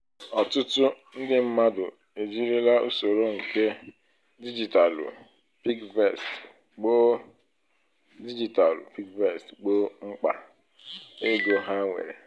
ọtụtụ ndị mmadụ e jirila usoro nke digitalụ piggyvest gboo digitalụ piggyvest gboo mkpa ego ha nwere